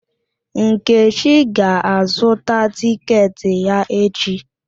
Nkechi ga-azụtạ tịketị ya echi.